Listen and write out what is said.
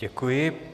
Děkuji.